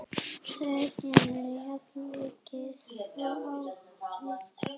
Ég mun elska þig ávallt.